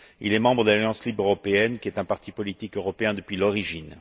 Il est membre de l'Alliance libre européenne, qui est un parti politique européen depuis l'origine.